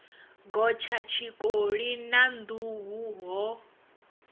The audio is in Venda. gotsha tshikoli na nḓuhu ho